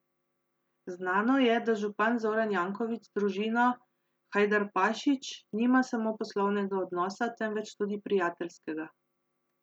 Znano je, da župan Zoran Janković z družino Hajdarpašić nima samo poslovnega odnosa, temveč tudi prijateljskega.